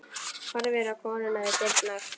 Horfir á konuna við dyrnar.